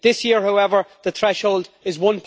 This year, however, the threshold is EUR